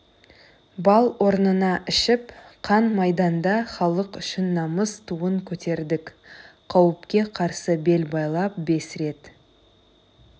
бал орнына ішіп қан майданда халық үшін намыс туын көтердік қауіпке қарсы бел байлап бес рет